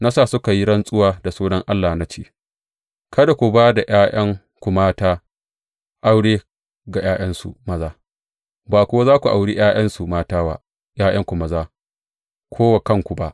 Na sa suka yi rantsuwa da sunan Allah na ce, Kada ku ba da ’ya’yanku mata aure ga ’ya’yansu maza, ba kuwa za ku auri ’ya’yansu mata wa ’ya’yanku maza ko wa kanku ba.